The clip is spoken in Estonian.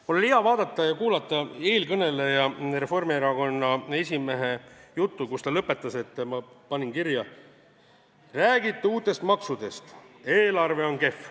Mul oli hea vaadata ja kuulata eelkõneleja, Reformierakonna esimehe juttu, kes lõpetas sõnadega – ma panin kirja –, et te räägite uutest maksudest, eelarve on kehv.